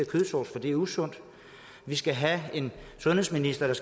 kødsovs for det er usundt vi skal have en sundhedsminister der